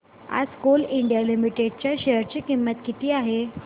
आज Coal India Limited च्या share ची किंमत किती आहे